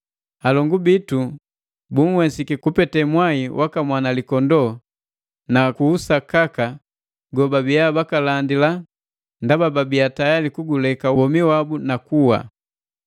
Alongu bitu bunhwesiki kupete mwai waka Mwanalikondoo na ku usakaka gobabia bakalandila ndaba babiaa tayali kuguleka womi wabu na kuwa.